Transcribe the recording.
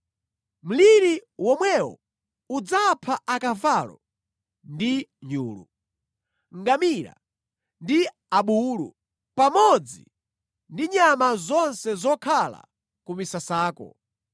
Mliri womwewo udzapha akavalo ndi nyulu, ngamira ndi abulu, pamodzi ndi nyama zonse zokhala ku misasako.